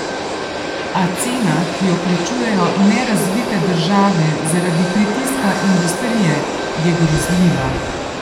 A cena, ki jo plačujejo nerazvite države zaradi pritiska industrije, je grozljiva.